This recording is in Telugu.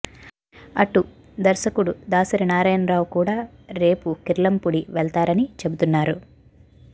అటు దర్శకుడు దాసరి నారాయణరావు కూడా రేపు కిర్లంపూడి వెళతారని చెబుతున్నారు